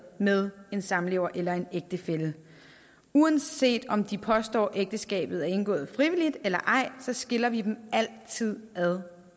med en samlever eller en ægtefælle uanset om de påstår at ægteskabet er indgået frivilligt eller ej så skiller vi dem altid ad